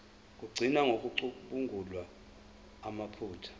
lokugcina ngokucubungula amaphutha